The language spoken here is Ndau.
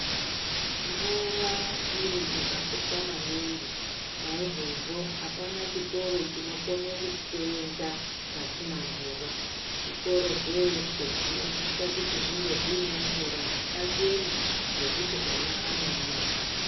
Mvura chiro chakakosha maningi naizvozvo apana chikoro chinokone kuseenza pasina mvura zvikoro zveeshe zvinosise kunge zvine mvura yakachena yekuti ana anomwa.